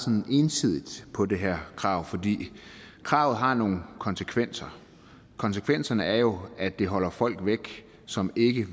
ensidigt på det her krav for kravet har nogle konsekvenser konsekvenserne er jo at det holder folk væk som ikke